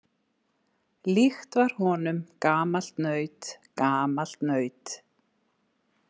Líkt var honum gamalt naut, gamalt naut.